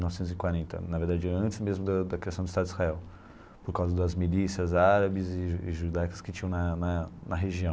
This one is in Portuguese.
Novecentos e quarenta na verdade, antes mesmo da da criação do Estado de Israel, por causa das milícias árabes e ju judaicas que tinham na na na região.